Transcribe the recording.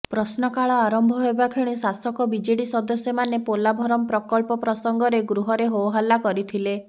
ପ୍ରଶ୍ନକାଳ ଆରମ୍ଭ ହେବାକ୍ଷଣି ଶାସକ ବିଜେଡି ସଦସ୍ୟମାନେ ପୋଲାଭରମ୍ ପ୍ରକଳ୍ପ ପ୍ରସଙ୍ଗରେ ଗୃହରେ ହୋହଲ୍ଲା କରିଥିଲେ